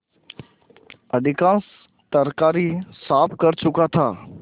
अधिकांश तरकारी साफ कर चुका था